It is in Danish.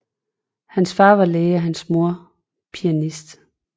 Hans far var læge og hans mor pianist